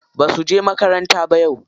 Ba suje makaranta ba yau.